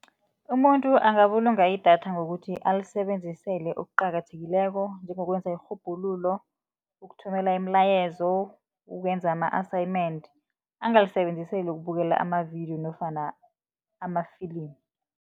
Umuntu angabulunga idatha ngokuthi, alisebenzisele okuqakathekileko njengokwenza irhubhululo, ukuthumela imilayezo, ukwenza ama-assignment, angalisebenziseli ukubukela amavidiyo nofana amafilimu.